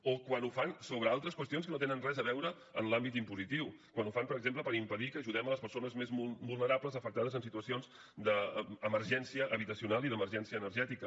o quan ho fan sobre altres qüestions que no tenen res a veure amb l’àmbit impositiu quan ho fan per exemple per impedir que ajudem les persones més vulnerables afectades en situacions d’emergència habitacional i d’emergència energètica